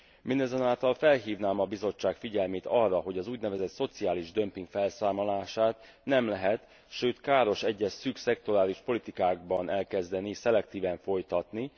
Mindazonáltal felhívnám a Bizottság figyelmét arra, hogy az úgynevezett szociális dömping felszámolását nem lehet, sőt káros egyes szűk szektorális politikákban elkezdeni, szelektíven folytatni.